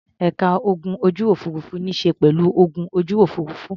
Ẹ̀ka ogun ojú-òfurufú níṣe pẹ̀lú ogun ojú òfurufú.